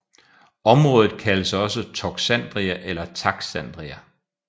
Området kaldes også Toxandria eller Taxandria